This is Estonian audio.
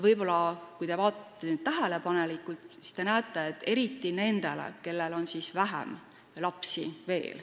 Kui te vaatate tähelepanelikult, siis näete, et eriti tähtsad on need nendele, kellel on vähem lapsi.